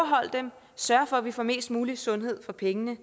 sørge for at vi får mest muligt sundhed for pengene